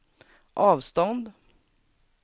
avstånd